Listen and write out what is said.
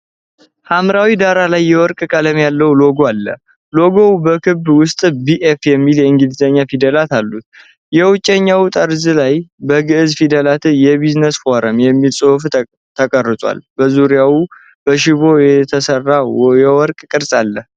ሐምራዊ ዳራ ላይ የወርቅ ቀለም ያለው ሎጎ አለ። ሎጎው በክበብ ውስጥ “BF” የሚሉ የእንግሊዝኛ ፊደላት አሉት። በውጪኛው ጠርዝ ላይ በግእዝ ፊደላት “የቢዝነስ ፎረም” የሚል ጽሑፍ ተቀርጿል። በዙሪያው በሽቦ የተሰራ የወርቅ ቅርጽ አለ።